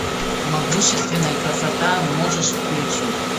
могущественная красота можешь включить